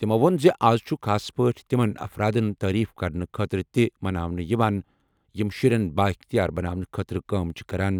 تِمَو ووٚن زِ اَز چھُ خاص پٲٹھۍ تِمَن افرادَن تعریف کرنہٕ خٲطرٕ تہِ مناونہٕ یِوان یِم شُرٮ۪ن بااختیار بناونہٕ خٲطرٕ کٲم چھِ کران